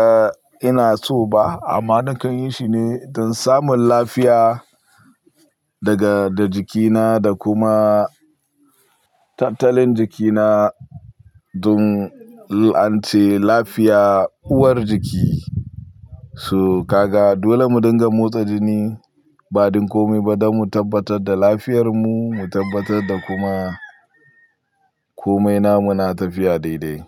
eh ina so ba, amma nakan yi shi ne don samun lafiya, daga, da jikina da kuma tattalin jikina, dun an ce lafiya uwar jiki. So kaga dole mu dinga motsa jini, ba dun komai ba don mu tabbatar da lafiyar mu, mu tabbatar da kuma komai namu na tafiya daidai.